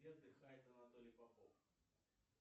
где отдыхает анатолий попов